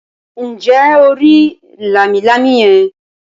Ǹjẹ́ o rí “ lámilámi ” yẹn.?